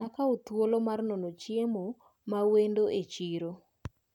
Nakawo thuolo mar nono chiemo mawendo e chiro.